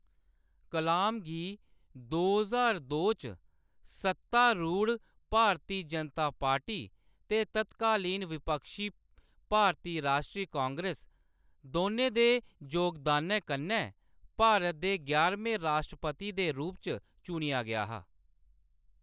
कलाम गी दो ज्हार दो च सत्तारूढ़ भारती जनता पार्टी ते तत्कालीन विपक्षी भारती राश्ट्री कांग्रेस दोनें दे जोगदानै कन्नै भारत दे ञारमें राश्ट्रपति दे रूप च चुनेआ गेआ हा।